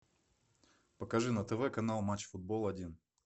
покажи на тв канал матч футбол один